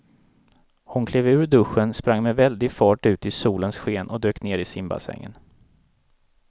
Hon klev ur duschen, sprang med väldig fart ut i solens sken och dök ner i simbassängen.